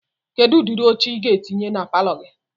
Kedu ụdịrị oche Ị ga-etinye na palọ gị?